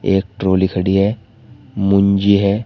एक ट्राली खड़ी है मुंजी है।